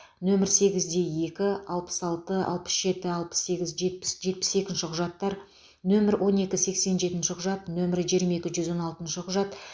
нөмірі сегізде екі алпыс алты алпыс жеті алпыс сегіз жетпіс жетпіс екінші құжаттар нөмірі он екі сексен жетінші құжат нөмірі жиырма екі жүз он алтыншы құжат